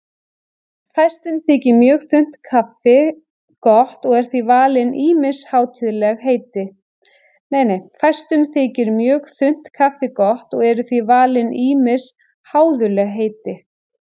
Fæstum þykir mjög þunnt kaffi gott og eru því valin ýmis háðuleg heiti.